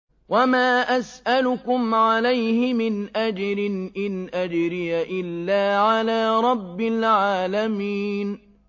وَمَا أَسْأَلُكُمْ عَلَيْهِ مِنْ أَجْرٍ ۖ إِنْ أَجْرِيَ إِلَّا عَلَىٰ رَبِّ الْعَالَمِينَ